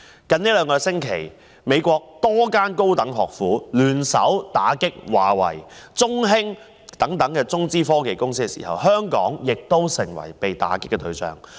在最近兩星期，美國多間高等學府聯手打擊華為、中興等中資科技公司，香港亦成為被打擊對象。